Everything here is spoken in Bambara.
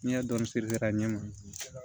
N'i y'a dɔɔni siri a ɲɛ ma